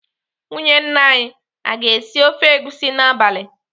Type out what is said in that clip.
Nwunye nna anyị aga esi ofe egusi n'abalị?